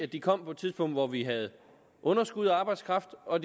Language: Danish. de kom på et tidspunkt hvor vi havde underskud af arbejdskraft og